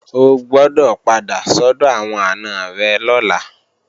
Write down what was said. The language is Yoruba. O gbọdọ̀ padà sọ́dọ̀ àwọn àna rẹ̀ lọ́la!